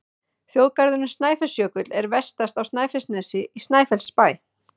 Þjóðgarðurinn Snæfellsjökull er vestast á Snæfellsnesi, í Snæfellsbæ.